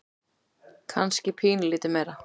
Kannski pínulítið meira.